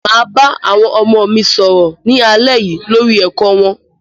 Màá bá àwọn ọmọ mi sọ̀rọ̀ ní alẹ́ yìí lórí ẹ̀kọ́ wọn.